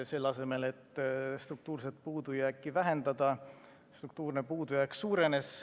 Selle asemel, et struktuurne puudujääk oleks vähenenud, struktuurne puudujääk suurenes.